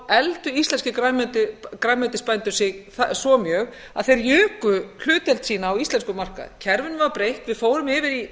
efldu íslenskir grænmetisbændur sig svo mjög að þeir juku hlutdeild sína á íslenskum markaði kerfinu var breytt við fórum yfir í